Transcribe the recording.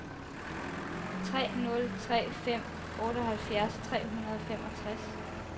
tre nul tre fem otteoghalvfjerds tre hundrede og femogtres